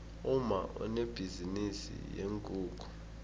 umma unebhizinisi yeenkukhu